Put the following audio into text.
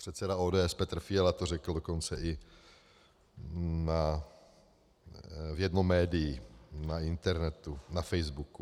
Předseda ODS Petr Fiala to řekl dokonce i v jednom médiu, na internetu, na Facebooku.